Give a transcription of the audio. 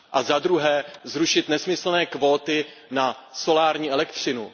Za druhé, zrušit nesmyslné kvóty na solární elektřinu.